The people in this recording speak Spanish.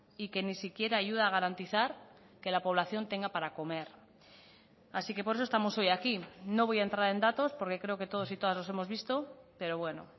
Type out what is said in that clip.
y que ni siquiera ayuda a garantizar que la población tenga para comer así que por eso estamos hoy aquí no voy a entrar en datos porque creo que todos y todas los hemos visto pero bueno